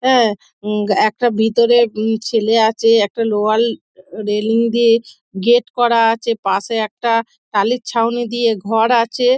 আ একটা ভিতরে উ ছেলে আছে একটা লোহার রেইলিং দিয়ে গেট করা আছে পাশে একটা টালির ছাউনি দিয়ে ঘর আছে |